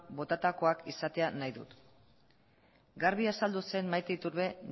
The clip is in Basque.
botatakoak izatea nahi dut garbi azaldu zen maite iturbe